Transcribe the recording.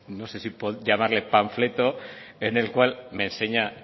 no sé si llamarlo panfleto en el cual me enseña